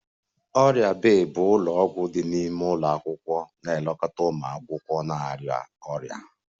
Ọrịa bay bụ ụlọ ọgwụ dị n'ime ụlọ akwụkwọ na-elekọta ụmụ akwụkwọ na-arịa ọrịa